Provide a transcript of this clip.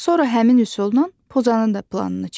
Sonra həmin üsulla pozanın da planını çək.